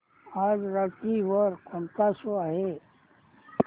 आज रात्री वर कोणता शो आहे